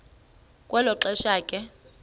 kwelo xesha ke